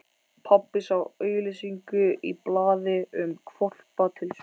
Pabbi sá auglýsingu í blaði um hvolpa til sölu.